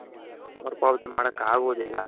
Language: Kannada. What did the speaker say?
ಮರು ಪಾವತಿ ಮಾಡೋಕಾಗೋದಿಲ್ಲ.